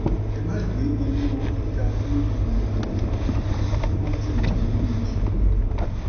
ẹ má gbé owó-orí ga lórí ìrìnà òfurufú; wọ́n ti wà nínú ìṣòro.